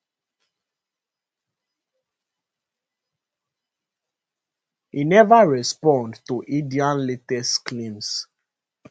e neva respond to india latest claims